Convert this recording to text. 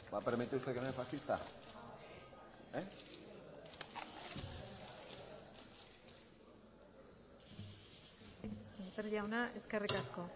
va a permitir usted que me llame fascista semper jauna eskerrik asko